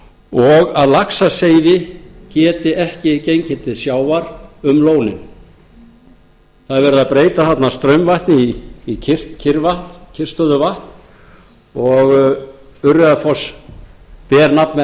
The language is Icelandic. og að laxaseiði geti ekki gengið til sjávar um lónin það er verið að breyta þarna straumvatni í kyrrstöðuvatn og urriðafoss ber nafn með